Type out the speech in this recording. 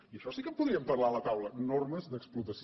i d’això sí que en podríem parlar a la taula normes d’explotació